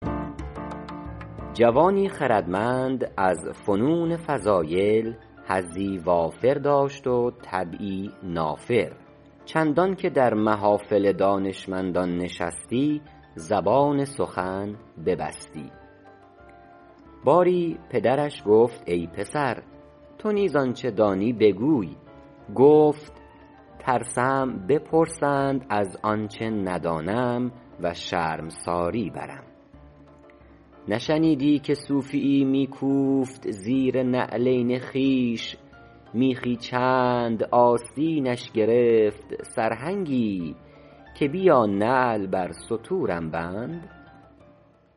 جوانی خردمند از فنون فضایل حظی وافر داشت و طبعی نافر چندان که در محافل دانشمندان نشستی زبان سخن ببستی باری پدرش گفت ای پسر تو نیز آنچه دانی بگوی گفت ترسم که بپرسند از آنچه ندانم و شرمساری برم نشنیدی که صوفی یی می کوفت زیر نعلین خویش میخی چند آستینش گرفت سرهنگی که بیا نعل بر ستورم بند